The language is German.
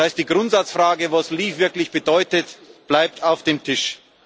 Das heißt Die Grundsatzfrage, was leave wirklich bedeutet, bleibt auf dem Tisch.